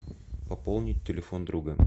пополнить телефон друга